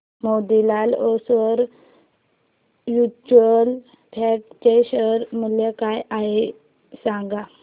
Motilal Oswal mutual fund चे share मूल्य काय आहे सांगा